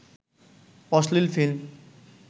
অশ্লীল ফিল্ম